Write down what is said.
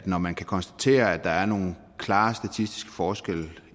når man kan konstatere at der er nogle klare statistiske forskelle